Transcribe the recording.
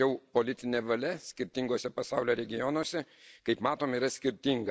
Tačiau politinė valia skirtinguose pasaulio regionuose, kaip matome, yra skirtinga.